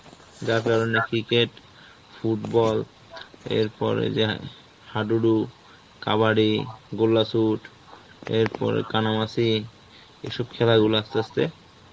যার কারনে cricket, football এরপরে যাহঃ হাডুডু, কাবাডি, গোল্লা shoot, এরপরে কানামাছি এইসব খারাপ গুলা আস্তে আস্তে